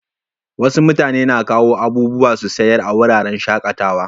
Wasu mutane na kawo abubuwa su sayar a wuraren shakatawa.